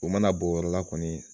O mana bɔn o yɔrɔ la kɔni